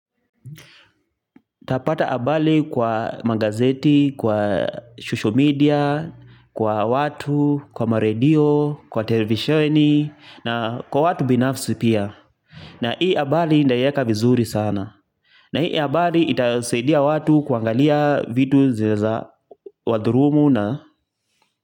Tapata habari kwa magazeti, kwa social media, kwa watu, kwa maredio, kwa televisheni na kwa watu binafsi pia. Na hii habari nitaieka vizuri sana. Na hii habari itasaidia watu kuangalia vitu zinaezawadhulumu na.